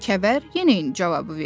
Kəvər yenə eyni cavabı verdi.